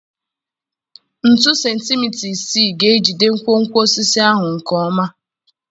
Ntu sentimita isii ga-ejide nkwonkwo osisi ahụ nke ọma.